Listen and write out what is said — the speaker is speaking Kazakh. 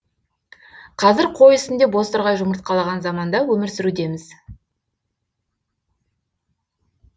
қазір қой үстінде бозторғай жұмыртқалаған заманда өмір сүрудеміз